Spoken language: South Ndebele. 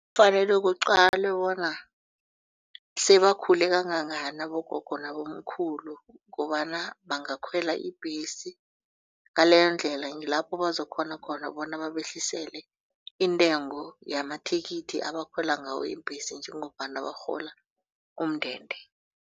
Kufanele kuqalwe bona sebakhule kangangani abogogo nabomkhulu kobana bangakhwela ibhesi. Ngaleyondlela ngilapha bazokukghona khona bona babehlisele intengo yamathikithi abakhwela ngawo ibhesi njengombana barhola umndende.